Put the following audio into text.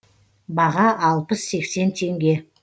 баға алпыс сексен теңге